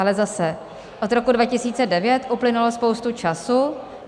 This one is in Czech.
Ale zase, od roku 2009 uplynulo spoustu času.